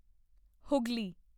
Hooghly